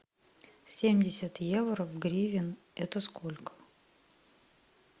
семьдесят евро в гривен это сколько